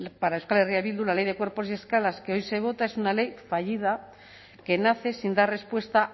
para euskal herria bildu la ley de cuerpos y escalas que hoy se vota es una ley fallida que nace sin dar respuesta